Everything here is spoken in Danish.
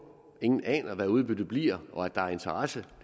ingen aner hvad udbyttet bliver og at der er interesse